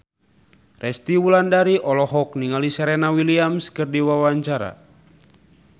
Resty Wulandari olohok ningali Serena Williams keur diwawancara